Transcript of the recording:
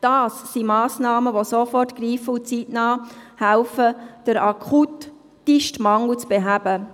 Das sind Massnahmen, die sofort greifen, um den akutesten Mangel zeitnah zu beheben.